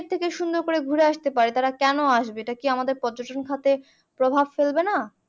থেকে সুন্দর করে ঘুরে আসতে পারে তাহলে কেন আসবে এটা কি আমাদের পর্যটন খাতে প্রভাব ফেলবেনা